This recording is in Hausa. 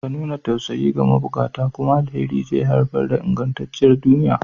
Ka nuna tausayi ga mabukata, kuma alheri zai haifar da ingantacciyar duniya.